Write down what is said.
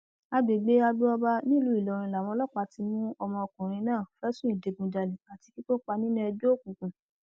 àgbègbè agboọba nílùú ìlọrin làwọn ọlọpàá ti mú ọmọkùnrin náà fẹsùn ìdígunjalè àti kí kópa nínú ẹgbẹ òkùnkùn